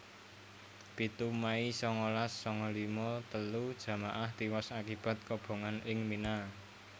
pitu mei sangalas sanga lima telu jamaah tiwas akibat kobongan ing Mina